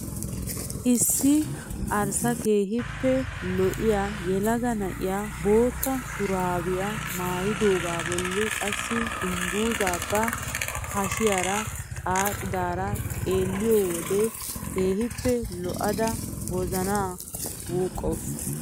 Issi arssakeehippe lo'iyaa yelaga na'iyaa bootta shuraabiyaa maayidogaa bolli qassi dunguzaa ba hashiyaara xaaxidaara xeelliyoo wode keehippe lo"ada wozanaa wuuqqawus.